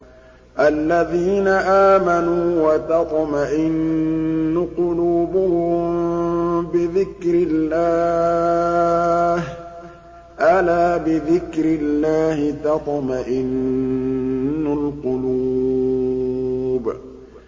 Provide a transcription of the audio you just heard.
الَّذِينَ آمَنُوا وَتَطْمَئِنُّ قُلُوبُهُم بِذِكْرِ اللَّهِ ۗ أَلَا بِذِكْرِ اللَّهِ تَطْمَئِنُّ الْقُلُوبُ